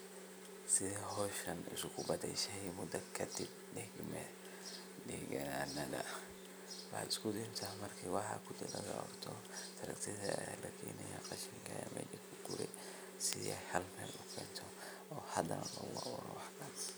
Sidhe hoshan isku badashe mudo kadib deganadha waxad isku deydha markad rabto marka gurto taraktadha aya lakeni si ey ugurto ena isku kento hal Mel